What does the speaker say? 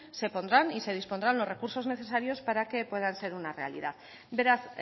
se pondrán y se dispondrán los recursos necesarios para que puedan ser una realidad beraz